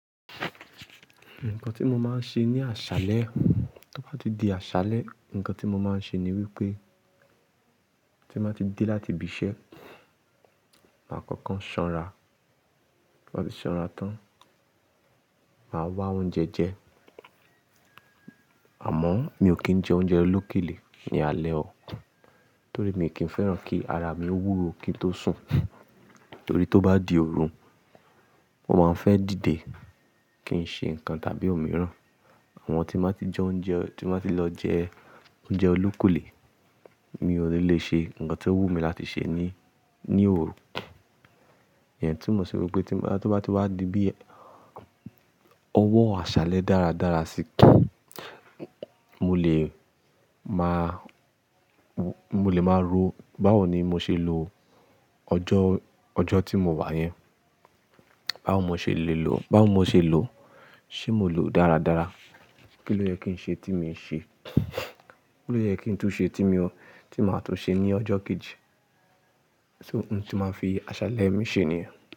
Nǹkan tí mo máa ń ṣe ní àṣálẹ́, tí mo bá ti di àṣálẹ́, ǹkan tí mo máa ń ṣe ni wípé tí mo bá ti dé láti ibi iṣẹ́, màá kọ́kọ́ sanra. Tí mo bá ti sanra tán, màá wá oúnjẹ jẹ. Àmọ́ mi ò kí ń jẹ oúnjẹ olókèlè ní alẹ́ o. Torí mi kì fẹ́ràn kí ara mi wúwo kí n tó sùn. Torí tó bá di òru, mo máa ń fẹ́ dìde kí n ṣe ǹkan tàbí o mìíràn. Àmọ́ tí mo bá ti jẹ oúnjẹ, tí mo bá ti lọ jẹ oúnjẹ olókèlè, mi ò ní le ṣe ǹkan tí ó wù mí láti ṣe ní, ní òru. Ìyẹn tí mo ṣe wípé tí mo bá, tí ó bá ti wá di bí ọwọ́ àṣálẹ́ dáradára síí, mo lè máa, mo lè máa rò báwo ni mo ṣe lo ọjọ́, ọjọ́ tí mo wà yẹn. Báwo mo ṣe lè lò, báwo mo ṣe lò, ṣé mo lò dáradára? Kí ló yẹ kí n ṣe tí mi ò ṣe? Kí ló yẹ kí n tún ṣe tí mi ò, tí màá tún ṣe ní ọjọ́ kejì? Ohun tí màá fi àṣálẹ́ mi ṣe nìyẹn.